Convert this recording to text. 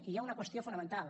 i hi ha una qüestió fonamental